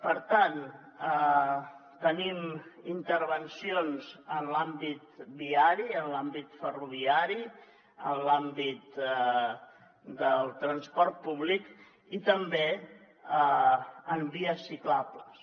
per tant tenim intervencions en l’àmbit viari en l’àmbit ferroviari en l’àmbit del transport públic i també en vies ciclables